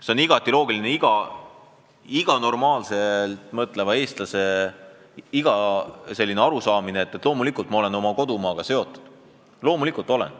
See on iga normaalselt mõtleva eestlase loogiline arusaam, et loomulikult ma olen oma kodumaaga seotud, loomulikult olen.